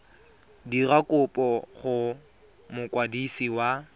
dira kopo go mokwadisi wa